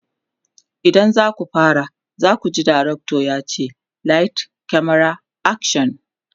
idan zaku fara zakuji dirctor yace "light, camera, action!"